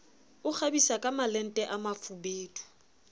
o kgabisa kamalente a mafubedu